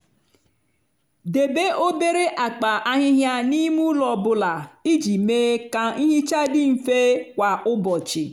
debe obere akpa ahịhịa n'ime ụlọ ọ bụla iji mee ka nhicha dị mfe kwa ụbọchị.